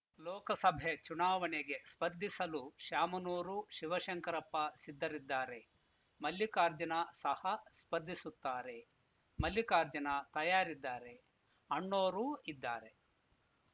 ಲೋಕಸಭೆ ಚುನಾವಣೆಗೆ ಸ್ಪರ್ಧಿಸಲು ಶಾಮನೂರು ಶಿವಶಂಕರಪ್ಪ ಸಿದ್ಧರಿದ್ದಾರೆ ಮಲ್ಲಿಕಾರ್ಜುನ ಸಹ ಸ್ಪರ್ಧಿಸುತ್ತಾರೆ ಮಲ್ಲಿಕಾರ್ಜುನ ತಯಾರಿದ್ದಾರೆ ಅಣ್ಣೋರೂ ಇದ್ದಾರೆ